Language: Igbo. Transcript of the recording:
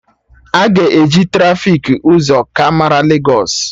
Aga e ji trafiki ụzọ ka mara Legos